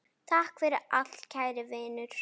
Takk fyrir allt, kæri vinur.